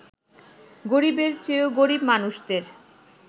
গরিবের চেয়েও গরিব মানুষদের